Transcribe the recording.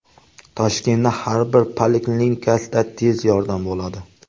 Toshkentning har bir poliklinikasida tez yordam bo‘ladi.